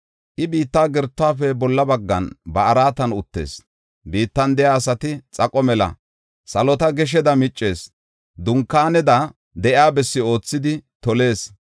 I biitta gertuwafe bolla baggan ba araatan uttees; biittan de7iya asati xaqo mela. Salota gesheda miccees; dunkaaneda de7iya bessi oothidi tolees.